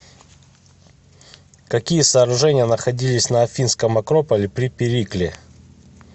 какие сооружения находились на афинском акрополе при перикле